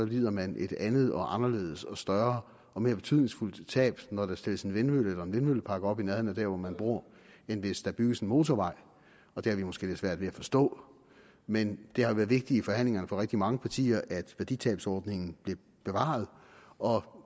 lider man et andet og anderledes og større og mere betydningsfuldt tab når der stilles en vindmølle eller en vindmøllepark op i nærheden af dér hvor man bor end hvis der bygges en motorvej og det har vi måske lidt svært ved at forstå men det har været vigtigt i forhandlingerne for rigtig mange partier at værditabsordningen blev bevaret og